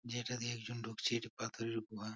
যেটা দিয়ে একজন ঢুকছে এটা পাথরের গুহা।